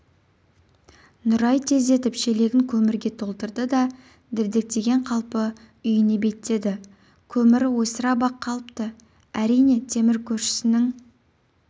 нұрай тездетіп шелегін көмірге толтырды да дірдектеген қалпы үйіне беттеді көмірі ойсырап-ақ қалыпты әрине темір көршісінің